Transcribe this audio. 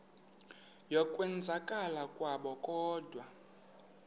yokwenzakala kwabo kodwa